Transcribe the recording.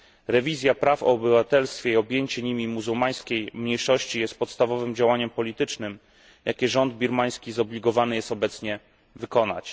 Rewizja praw o obywatelstwie i objęcie nimi muzułmańskiej mniejszości jest podstawowym działaniem politycznym, jakie rząd birmański zobligowany jest obecnie wykonać.